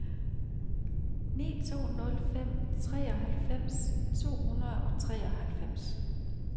ni to nul fem treoghalvfems to hundrede og treoghalvfems